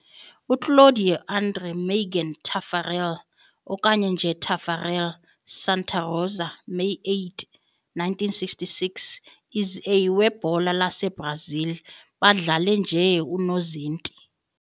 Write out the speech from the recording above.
Claudio André Mergen Taffarel, okanye nje Taffarel Santa Rosa, May 8, 1966 is a webhola laseBrazil badlale nje unozinti.